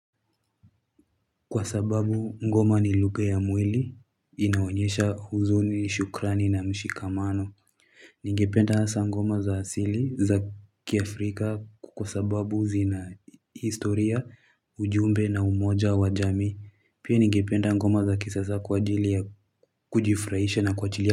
Kwa sababu ngoma ni lugha ya mwili, inaonyesha huzuni, shukrani na mshikamano. Ningependa hasa ngoma za asili za kiafrika kwa sababu zina historia, ujumbe na umoja wa jamii. Pia ningependa ngoma za kisasa kwa ajili ya kujifurahisha na kuachilia.